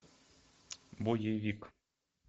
боевик